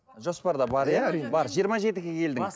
жоспарда бар иә әрине бар жиырма жетіге келдің